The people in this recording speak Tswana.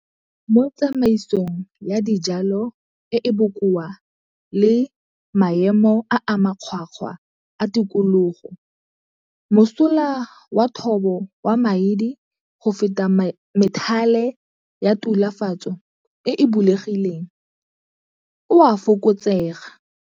Mo tsamaisong ya dijalo e e bokoa le maemo a a makgwakgwa a tikologo, mosola wa thobo wa maidi go feta methale ya tulafatso e e bulegileng o a fokotsega.